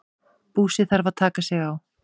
Búsi þarf að taka sig á.